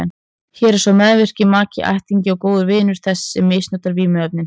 Hér er sá meðvirki maki, ættingi eða góður vinur þess sem misnotar vímuefnin.